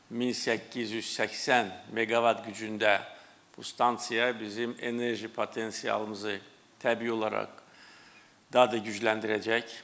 1880 meqavat gücündə bu stansiya bizim enerji potensialımızı təbii olaraq daha da gücləndirəcək.